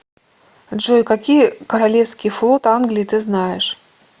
джой какие королевский флот англии ты знаешь